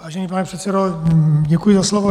Vážený pane předsedo, děkuji za slovo.